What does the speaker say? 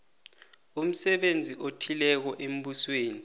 umsebenzi othileko embusweni